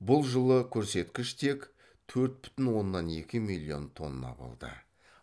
бұл жылы көрсеткіш тек төрт бүтін оннан екі миллион тонна болды